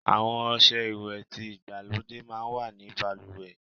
Àwon ose ìwè ti igbalode máa n wa ní baluwe